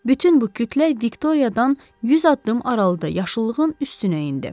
Bütün bu kütlə Viktoriyaadan 100 addım aralıda yaşıllığın üstünə endi.